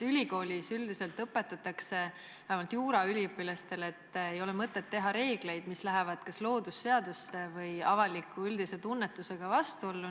Ülikoolis üldiselt õpetatakse, vähemalt juuraüliõpilastele, et ei ole mõtet kehtestada reegleid, mis lähevad kas loodusseadustega või avalikkuse üldise tunnetusega vastuollu.